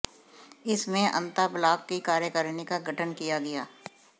इसमें अंता ब्लॉक की कार्यकारिणी का गठन किया गया